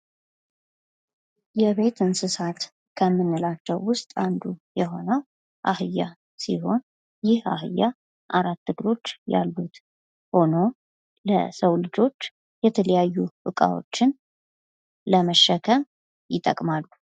የቤት እንስሳት ከምንላቸዉ ዉስጥ አንዱ የሆነዉ አህያ ሲሆን ይህ አህያ አራት እግሮች ያሉት ሆኖ ለሰዉ ልጆች የተለያዩ እቃዎችን ለመሸከም ይጠቅማሉ።